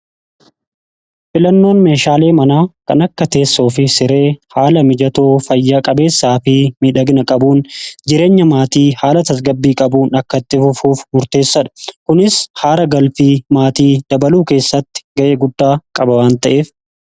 Filannoon meeshaalee manaa kan akka teessoo fi siree haala mijatoo fayya qabeessaa fi midhagina qabuun jireenya maatii haala tasgabbii qabuun akkatti fufuuf murteessadha. Kunis aara galfii maatii dabaluu keessatti ga'ee guddaa qaba waan ta'eef.